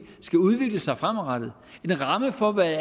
skal udvikle sig fremadrettet en ramme for hvad